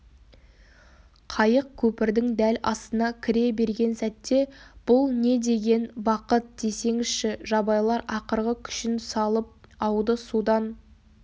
қайық көпірдің дәл астына кіре берген сәтте бұл не деген бақыт десеңізші жабайылар ақырғы күшін салып ауды судан